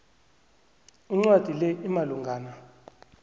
incwadi le imalungana